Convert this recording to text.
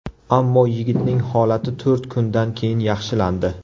Ammo yigitning holati to‘rt kundan keyin yaxshilandi.